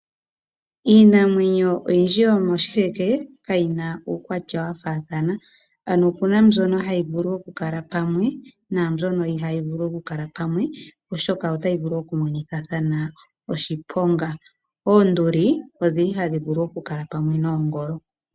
Iinamwenyo oyindji yomokuti kayina uukwatya wa faathana. Ano opuna mbyono hayi vulu okukala pamwe naambyono ihaaayi vulu okukala pamwe. Oshoka otayi vulu okumonithathana oshiponga. Oonduli odhili hadho vulu okukala pamwe noongolo.